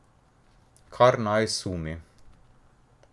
Kar naj sumi.